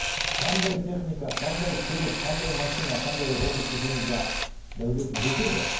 қандай техника қандай көлік қандай машина қандай робот десеңіз де дәулеті жетеді